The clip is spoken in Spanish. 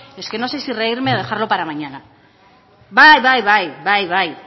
es que no sé si reírme o dejarlo para mañana bai bai bai